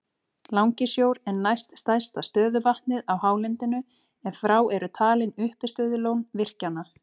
Langisjór er næst stærsta stöðuvatnið á hálendinu ef frá eru talin uppistöðulón virkjanna.